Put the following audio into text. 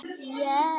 Hún hélt nú það.